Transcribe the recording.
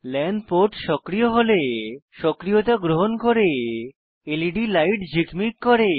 লান port সক্রিয় হলে সক্রিয়তা গ্রহণ করে লেড লাইট ঝিকমিক করে